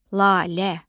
Lalə.